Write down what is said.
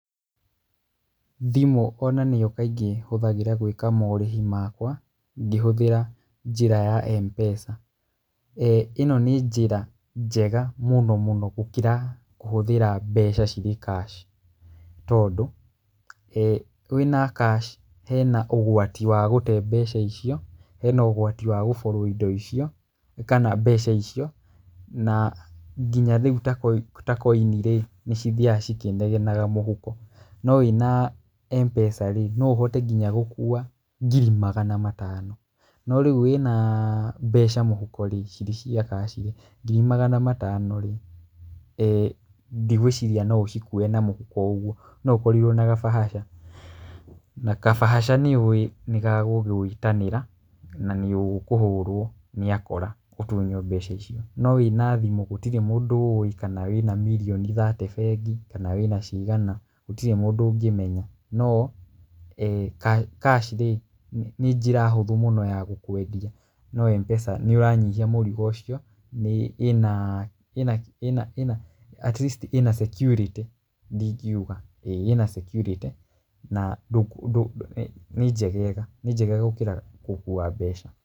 Thimũ ona nĩyo kaingĩ hũthagĩra gwĩka morĩhi makwa, ngĩhũthĩra njĩra ya M-PESA. Ĩno nĩ njĩra njega mũno mũno gũkĩra kũhũthĩra mbeca cirĩ cash tondũ, wĩna cash hena ũgwati wa gũte mbeca icio, hena ũgwati wa gũborwo mbeca icio na nginya rĩu ta koinirĩ nĩ cithiaga cikĩnegenaga mũhuko, no wĩna M-pesa rĩ no ũhote nginya gũkua ngiri magana matano no rĩu wĩna mbeca mũhuko rĩ cirĩ cia cash rĩ, ngiri magana matano rĩ, ndigwĩciria noũcikuue na mũhuko oũguo no ũkorirwo na gabahasha na kabahasha nĩũĩ nĩgagũgũĩtanĩra na nĩũkíĩhũrwo nĩ akora ũtunywo mbeca icio, no wĩna thimũ gũtirĩ mũndũ ũũĩ kana mirioni mĩrongo ĩtatũ bengi, kana wĩna ciigana gũtirĩ mũndũ ũngĩmenya. No cash rĩ, nĩ njĩra hũthũ mũno ya gũkwendia no M-pesa nĩũranyihia mũrigo ũcio, atleast ĩna cekiurĩtĩ ndingiuga, ĩna cekiurĩtĩ nĩ njegega gũkĩra gũkua mbeca.